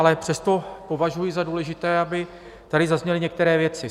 Ale přesto považuji za důležité, aby tady zazněly některé věci.